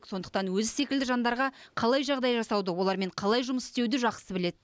сондықтан өзі секілді жандарға қалай жағдай жасауды олармен қалай жұмыс істеуді жақсы біледі